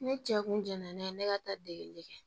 Ne cɛ kun jɛnna ne ka taa degeli kɛ